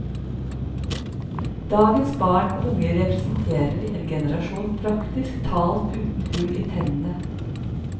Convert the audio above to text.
Dagens barn og unge representerer en generasjon praktisk talt uten hull i tennene.